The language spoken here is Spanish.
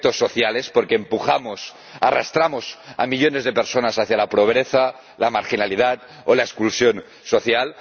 efectos sociales, porque empujamos, arrastramos, a millones de personas hacia la pobreza, la marginalidad o la exclusión social